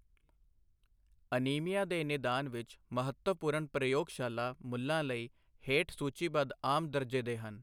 Anaemia ਦੇ ਨਿਦਾਨ ਵਿੱਚ ਮਹੱਤਵਪੂਰਨ ਪ੍ਰਯੋਗਸ਼ਾਲਾ ਮੁੱਲਾਂ ਲਈ ਹੇਠ ਸੂਚੀਬੱਧ ਆਮ ਦਰਜੇ ਦੇ ਹਨ।